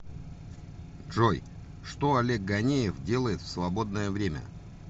джой что олег ганеев делает в свободное время